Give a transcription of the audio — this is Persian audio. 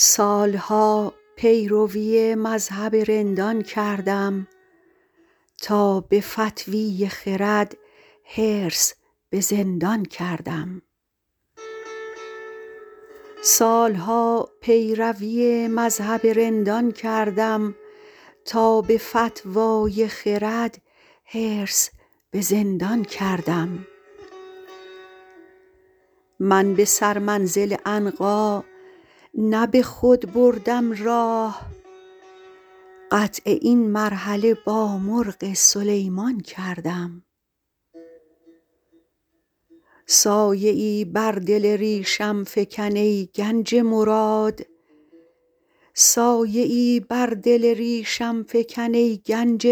سال ها پیروی مذهب رندان کردم تا به فتوی خرد حرص به زندان کردم من به سرمنزل عنقا نه به خود بردم راه قطع این مرحله با مرغ سلیمان کردم سایه ای بر دل ریشم فکن ای گنج